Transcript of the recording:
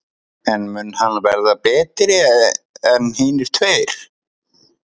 En mun hann verða betri en hinir tveir?